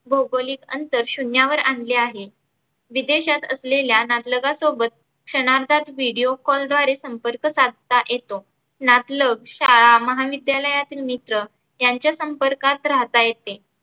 भौगोलीक अंतर शुन्यावर आनले आहे. विदेशात असलेल्या नातलगासोबत क्षनार्धात video call द्वारे संम्पर्क साधता येतो. नातलग, शाळा, महाविद्यालयातील मित्र यांच्या संपर्कात राहता येते.